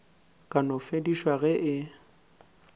ka no fedišwa ge e